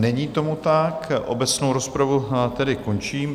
Není tomu tak, obecnou rozpravu tedy končím.